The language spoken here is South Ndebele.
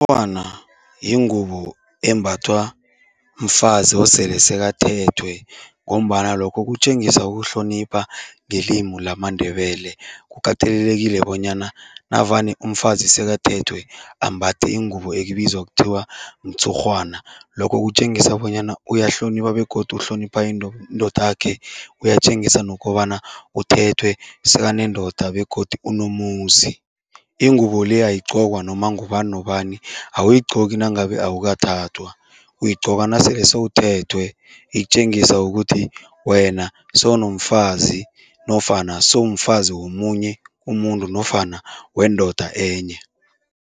Yingubo embathwa mfazi osele sekathethwe ngombana lokho kutjengisa ukuhlonipha ngelimu lamaNdebele. Kukatelelekile bonyana navane umfazi sekathethwe, ambathe ingubo ekubizwa kuthiwa mtshurhwana. Lokho kutjengisa bonyana uyahlonipha begodu uhlonipha indodakhe, uyatjengisa nokobana uthethwe sekanendoda begodu unomuzi. Ingubo le ayigqokwa noma ngubani nobani, awuyigqoki nangabe awukathathwa, uyigqoka nasele sewuthethwe. Itjengisa ukuthi wena sewunomfazi nofana sewumfazi womunye umuntu nofana wendoda enye.